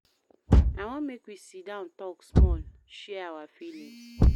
I wan make we sit down tok small, share our feelings.